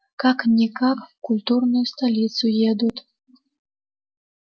как-никак в культурную столицу едут